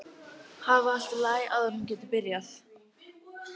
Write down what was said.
Hafa allt í lagi áður en hún getur byrjað.